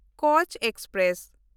Kutch express